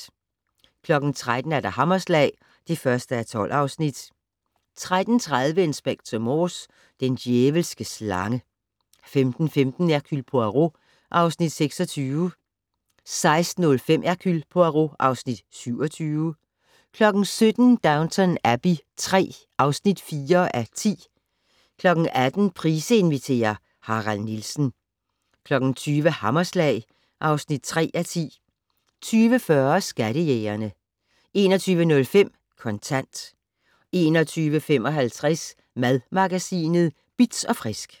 13:00: Hammerslag (1:12) 13:30: Inspector Morse: Den djævelske slange 15:15: Hercule Poirot (Afs. 26) 16:05: Hercule Poirot (Afs. 27) 17:00: Downton Abbey III (4:10) 18:00: Price inviterer - Harald Nielsen 20:00: Hammerslag (3:10) 20:40: Skattejægerne 21:05: Kontant 21:55: Madmagasinet Bitz & Frisk